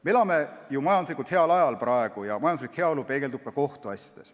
Me elame ju praegu majanduslikult heal ajal ja majanduslik heaolu peegeldub ka kohtuasjades.